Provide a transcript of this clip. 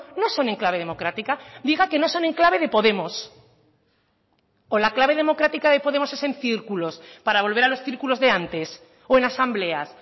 no son en clave democrática diga que no son en clave de podemos o la clave democrática de podemos es en círculos para volver a los círculos de antes o en asambleas